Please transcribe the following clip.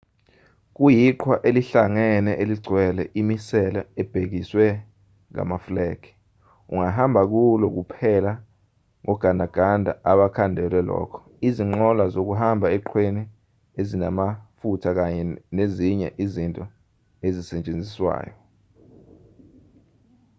kuyiqhwa elihlangene eligcwele imisele ebekiswe ngamafulegi ungahamba kulo kuphela ngogandaganda abakhandelwe lokho izinqola zokuhamba eqhweni ezinamafutha kanye nezinye izinto ezisetshenziswayo